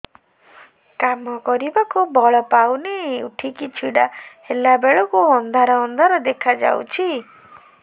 କାମ କରିବାକୁ ବଳ ପାଉନି ଉଠିକି ଛିଡା ହେଲା ବେଳକୁ ଅନ୍ଧାର ଅନ୍ଧାର ଦେଖା ଯାଉଛି